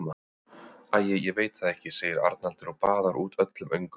Æi, ég veit það ekki, segir Arnaldur og baðar út öllum öngum.